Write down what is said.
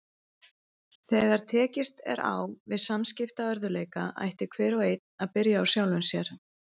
Þegar tekist er á við samskiptaörðugleika ætti hver og einn að byrja á sjálfum sér.